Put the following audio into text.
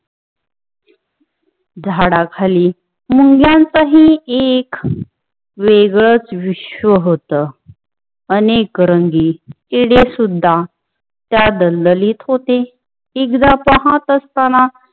झाडाखाली मुंग्यांच हि एक वेगळच विश्व हुत. अनेक रंगी चिडी सुद्धा त्या दलदलीत होते. एकदा पाहत अस्ताना